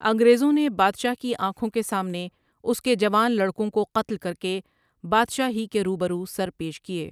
انگریزوں نے بادشاہ کی آنکھوں کے سامنے اس کے جوان لڑکوں کو قتل کرکے بادشاہ ہی کے روبرو سیرپیش کیے ۔